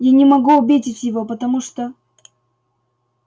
я не могу обидеть его потому что